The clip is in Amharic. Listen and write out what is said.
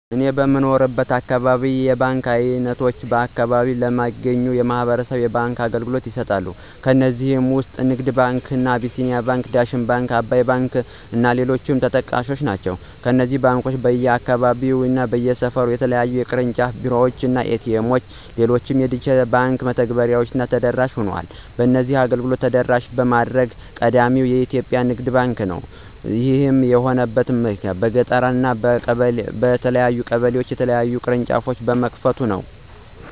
እኔ በምኖርበት አካባቢ የተለያዩ የባንክ አይነቶች በአከባቢው ለሚገኙ ማህበረሰብ የባንክ አገልግሎቶችን ይሰጣሉ። ከነዚህም ውስጥ እንደ ንግድ ባንክ፣ አቢሲኒያ ባንክ፣ ዳሽን ባንክ፣ አባይ ባንክ እና ሌሎችም ተጠቃሽ ናቸው። እነዚህ ባንኮች በየአካባቢው እና በየሰፈሩ የተለያዩ የቅርንጫፍ ቢሮዎች፣ ኤ.ቲ. ኤምዎች እና ሌሎች የዲጂታል የባንክ መተግበሬዎችን ተደራሽ ሆኗል። በዚህም አገልግሎቱን ተደራሽ በማድረግ ቀዳሚው ባንክ ንግድ ባንክ ሲሆን ይህም የሆነበት በየገጠሩ እና በየቀበሌው የተለያዩ ቅርንጫፎችን በመክፈቱ ነው።